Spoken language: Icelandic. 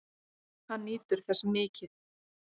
Hann nýtur þess mikið.